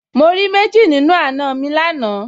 Mo rí méjì nínú àna mi lánàá